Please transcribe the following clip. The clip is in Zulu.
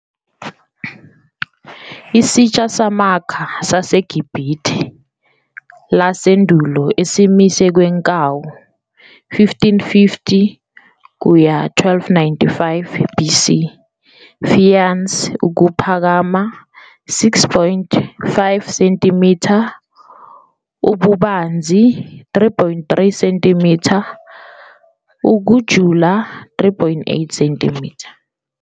Isitsha samakha saseGibhithe lasendulo esimise okwenkawu. 1550-1295 BC. faience. ukuphakama, 6.5 cm, ububanzi- 3.3 cm, ukujula, 3.8 cm.